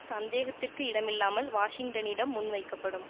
சந்தேகத்திற்கிடமில்லாமல் வாஷிங்டனிடம் முன் வைக்கப்படும்